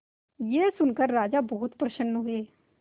यह सुनकर राजा बहुत प्रसन्न हुए